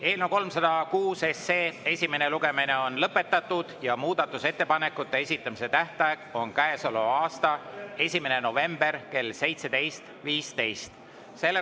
Eelnõu 306 esimene lugemine on lõpetatud ja muudatusettepanekute esitamise tähtaeg on käesoleva aasta 1. november kell 17.15.